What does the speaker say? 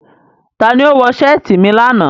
Tani o wọ seeti mi lana?